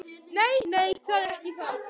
Nei, nei, það er ekki það.